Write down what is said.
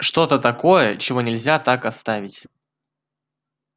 что-то такое чего нельзя так оставить